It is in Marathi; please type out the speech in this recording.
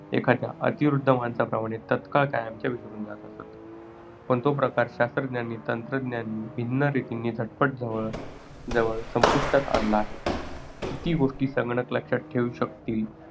एखाद्या अतिवृद्ध माणसाप्रमाणे तत्काळ कायमच्या विसरून जात असत. पण तो प्रकार शास्त्रज्ञांनी तंत्रज्ञांनी भिन्न रीतींनी झटपट जवळजवळ संपुष्टात आणला आहे. किती गोष्टी संगणक लक्षात ठेवू शकतील